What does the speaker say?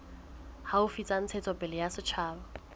haufi tsa ntshetsopele ya setjhaba